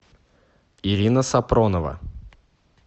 ирина сапронова